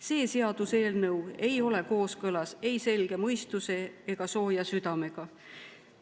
See seaduseelnõu ei ole kooskõlas ei selge mõistuse ega sooja südamega.